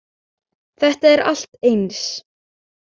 Þetta er allt eins.